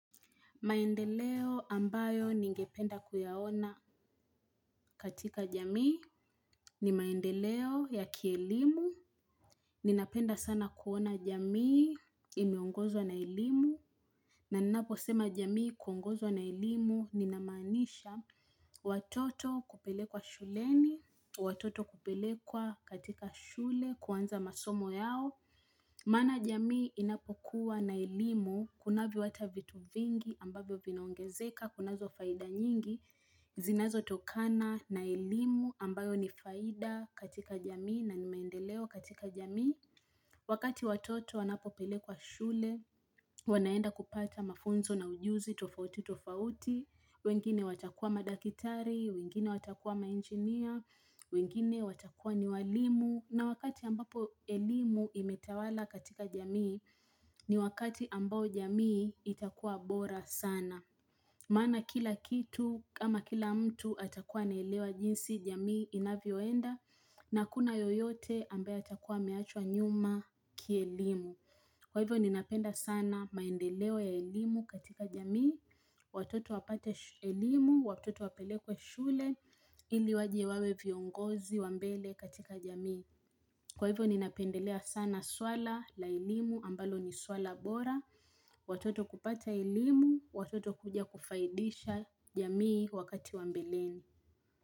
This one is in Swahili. Maendeleo ambayo ningependa kuyaona katika jamii ni maendeleo ya kielimu, ninapenda sana kuona jamii imeongozwa na elimu, na ninaposema jamii kuongozwa na elimu ninamanisha watoto kupelekwa shuleni, watoto kupelekwa katika shule kuanza masomo yao. Maana jamii inapokuwa na elimu, kunavyo hata vitu vingi ambavyo vinaongezeka, kunazo faida nyingi, zinazotokana na elimu ambayo ni faida katika jamii nani maendeleo katika jamii. Wakati watoto wanapo pelekwa shule, wanaenda kupata mafunzo na ujuzi, tofauti, tofauti, wengine watakuwa madakitari, wengine watakuwa mainjiinia, wengine watakuwa ni walimu. Na wakati ambapo elimu imetawala katika jamii ni wakati ambao jamii itakuwa bora sana. Manaa kila kitu ama kila mtu atakuwa anaelewa jinsi jamii inavyoenda na hakuna yoyote ambaye atakuwa ameachwa nyuma kielimu. Kwa hivyo ninapenda sana maendeleo ya elimu katika jamii, watoto wapate sh elimu, watoto wapelekwe shule ili wajewawe viongozi wa mbele katika jamii. Kwa hivyo ninapendelea sana swala la elimu ambalo ni swala bora, watoto kupata elimu, watoto kuja kufaidisha jamii wakati wa mbelini.